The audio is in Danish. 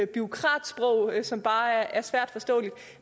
bureaukratsprog som bare er svært forståeligt